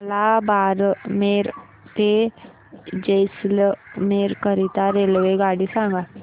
मला बारमेर ते जैसलमेर करीता रेल्वेगाडी सांगा